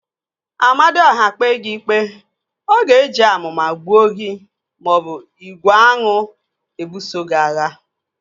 Amadiọha kpee gị ikpe, ọ ga-eji amụma gbuo gị maọbụ igwe aṅụ ebuso gị agha